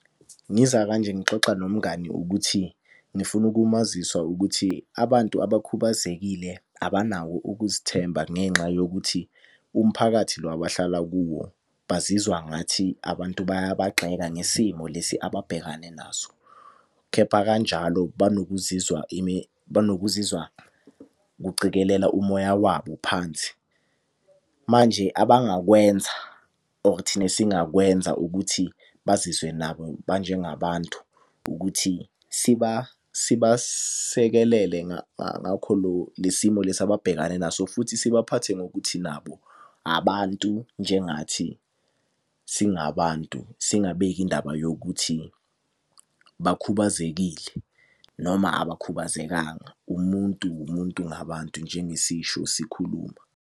Ngiza kanje ngixoxa nomngani ukuthi, ngifuna ukumazisa ukuthi abantu abakhubazekile abanawo ukuzithemba ngenxa yokuthi umphakathi lo abahlala kuwo bazizwa ngathi abantu bayabagxeka ngesimo lesi ababhekane naso. Kepha kanjalo banokuzizwa banokuzizwa kucikelela umoya wabo phansi. Manje abangakwenza or thina esingakwenza ukuthi bazizwe nabo ba njengabantu, ukuthi sibasekelele le simo lesi ababhekane naso. Futhi sibaphathe ngokuthi nabo abantu njengathi singabantu, singabeki indaba yokuthi bakhubazekile noma abakhubazekanga. Umuntu umuntu ngabantu njengesisho sikhuluma.